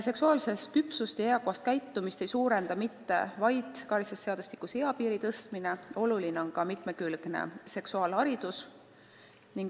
Seksuaalset küpsust ja eakohast käitumist ei soodusta üksnes karistusseadustikus eapiiri tõstmine, tähtis on ka mitmekülgne seksuaalharidus.